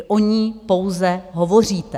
Vy o ní pouze hovoříte.